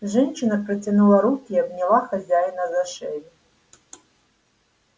женщина протянула руки и обняла хозяина за шею